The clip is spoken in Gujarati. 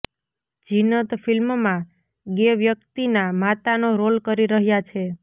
ઝીનત ફિલ્મમાં ગે વ્યક્તિના માતાનો રોલ કરી રહ્યાં છે